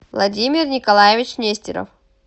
владимир николаевич нестеров